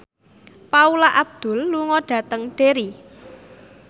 Paula Abdul lunga dhateng Derry